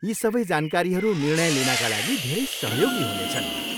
यी सबै जानकारीहरू निर्णय लिनाका लागि धेरै सहयोगी हुनेछन्।